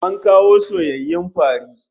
An kawo soyayyun fari